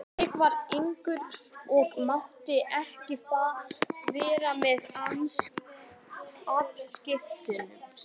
Ég var yngri og mátti ekki vera með afskiptasemi.